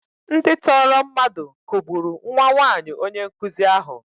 Ndị tọọrọ mmadụ kụgburu nwa nwaanyi onye nkụzi ahụ.